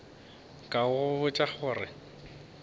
ka go botša gore ke